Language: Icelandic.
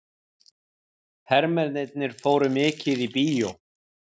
Hermennirnir fóru mikið í bíó.